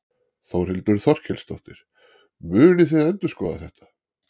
Þórhildur Þorkelsdóttir: Munið þið endurskoða þetta?